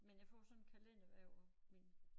Men jeg får sådan kalender hvert år min